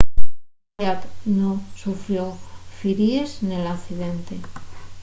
zayat nun sufrió firíes nel accidente